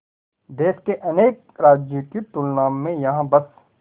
देश के अनेक राज्यों की तुलना में यहाँ बस